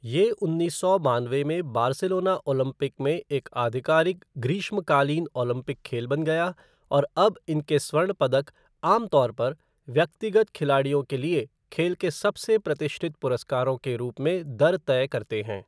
ये उन्नीस सौ बानवे में बार्सिलोना ओलंपिक में एक आधिकारिक ग्रीष्मकालीन ओलंपिक खेल बन गया और अब इनके स्वर्ण पदक आम तौर पर व्यक्तिगत खिलाड़ियों के लिए खेल के सबसे प्रतिष्ठित पुरस्कारों के रूप में दर तय करते हैं।